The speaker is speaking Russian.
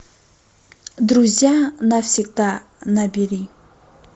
друзья навсегда набери